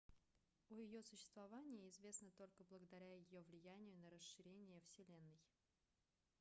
о ее существовании известно только благодаря ее влиянию на расширение вселенной